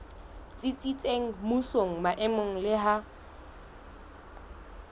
tsitsitseng mmusong maemong le ha